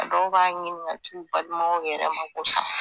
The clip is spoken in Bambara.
Dɔw b'a ɲini ka t'u balimaw yɛrɛ mago sa